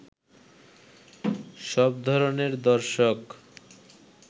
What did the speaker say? সব ধরণের দর্শক